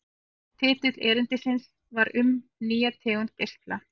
Titill erindisins var Um nýja tegund geisla.